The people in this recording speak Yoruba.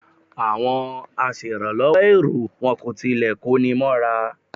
Àwọn aṣèràlọ́wọ́ èrò wọn kò tilẹ̀ kóni mọ́ra.